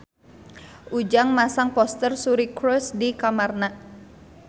Ujang masang poster Suri Cruise di kamarna